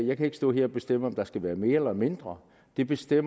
jeg kan ikke står her og bestemme om der skal være mere eller mindre det bestemmer